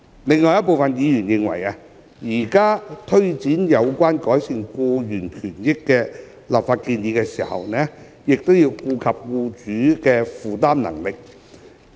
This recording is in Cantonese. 另有部分委員認為，在推展有關改善僱員權益的立法建議時，亦應顧及僱主的負擔能力。